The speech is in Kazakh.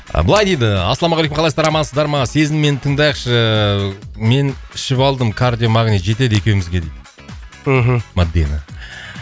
былай дейді ассалаумағалейкум қалайсыздар амансыздар ма сезіммен тыңдайықшы мен ішіп алдым кардиомагнил жетеді екеумізге дейді мхм мадина